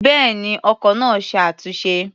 Bẹ́ẹ̀ni, ọkọ̀ náà ṣe é túnṣe.